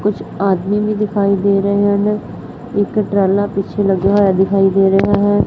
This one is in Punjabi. ਕੁੱਛ ਆਦਮੀ ਵੀ ਦਿਖਾਈ ਦੇ ਰਹੇ ਹਨ ਇੱਕ ਟਰਾਲਾ ਪਿੱਛੇ ਲੱਗਿਆ ਹੋਯਾ ਦਿਖਾਈ ਦੇ ਰਿਹਾ ਹੈ।